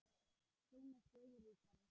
Sjón er sögu ríkari!